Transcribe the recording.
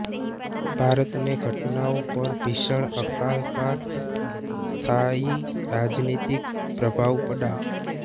भारत में घटनाओं पर भीषण अकाल का स्थायी राजनीतिक प्रभाव पड़ा